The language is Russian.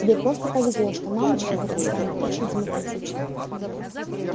тебе просто повезло что мамочка в этом плане очень демократична